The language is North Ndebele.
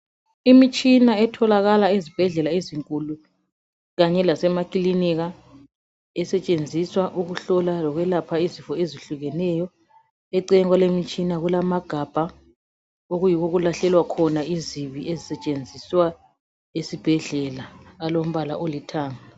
Imitshina etholakala ezibhedlela ezinkulu kanye lasemakilinika. Esetshenziswa ukuhlola lokwelapha izifo ezehlukeneyo. Eceleni kwale mitshina kulamagabha okuyiwo okulahlelwa khona izibi ezisetshenziswa esibhedlela. Alombala olithanga.